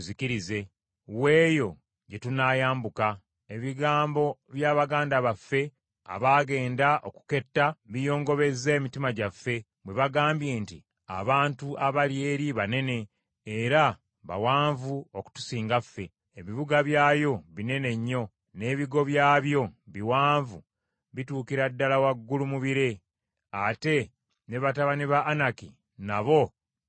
Wa eyo gye tunaayambuka? Ebigambo bya baganda baffe abaagenda okuketta biyongobezza emitima gyaffe, bwe bagambye nti, Abantu abali eri banene, era bawanvu okutusinga ffe; ebibuga byayo binene nnyo, n’ebigo byabyo biwanvu bituukira ddala waggulu mu bire. Ate ne batabani ba Anaki nabo twabalabayo.’ ”